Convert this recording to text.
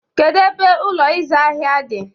Kedu ebe Ụlọ ịzụ ahịa dị?